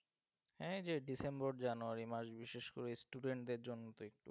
হ্যাঁ এই যে ডিসেম্বর, জানুয়ারী মাস বিশেষ করে student দের জন্য তো একটু,